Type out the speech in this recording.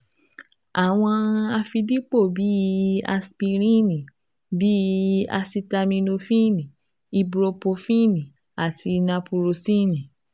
Àwọn àfidípò bih i asipiríìnì bí i asitaminofíìnì, ibupurofíìnì àti napurọsíìnì